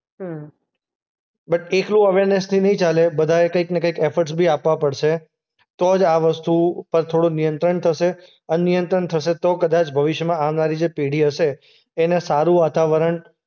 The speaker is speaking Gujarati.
હમ્મ. બટ એટલું અવેરનેસથી નહીં ચાલે. બધાએ કંઈકના કંઈક એફર્ટસ બી આપવા પડશે. તો જ આ વસ્તુ પર થોડું નિયંત્રણ થશે અને નિયંત્રણ થશે તો કદાચ ભવિષ્યમાં આવનારી જે પેઢી હશે એને સારું વાતાવરણ